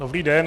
Dobrý den.